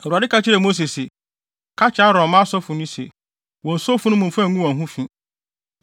Awurade ka kyerɛɛ Mose se, “Ka kyerɛ Aaron mma asɔfo no se, ‘wonnso funu mu mfa ngu wɔn ho fi.